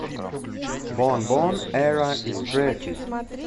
бонбон эра истрефи